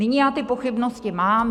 Nyní já ty pochybnosti mám.